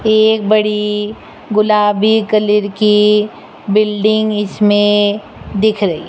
एक बड़ी गुलाबी कलर की बिल्डिंग इसमें दिख रही।